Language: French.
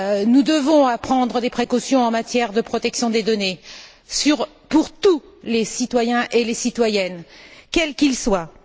Nous devons prendre des précautions en matière de protection des données pour tous les citoyens et les citoyennes, quels qu'ils soient.